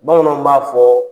Bamananw b'a fɔ